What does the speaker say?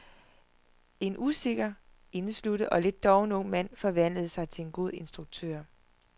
En usikker, indesluttet og lidt doven ung mand forvandlede sig til en god instruktør.